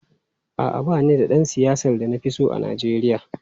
A’a, ba ni da ɗan siyasa da na fi so a Najeriya.